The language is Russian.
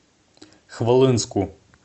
хвалынску